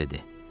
Ahab dedi.